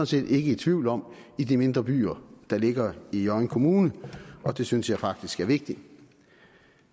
set ikke i tvivl om i de mindre byer der ligger i hjørring kommune og det synes jeg faktisk er vigtigt